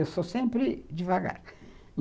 Eu sou sempre devagar.